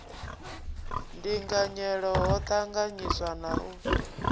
ndinganyelo ho ṱanganyiswa na u